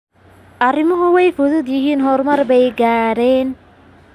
Arrimuhu waa fudud yihiin, horumar bay gaadheen.